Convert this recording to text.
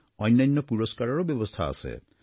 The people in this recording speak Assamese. অন্যান্য পুৰস্কাৰৰো ব্যৱস্থা আছে